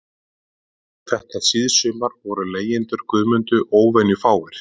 Þetta síðsumar voru leigjendur Guðmundu óvenjufáir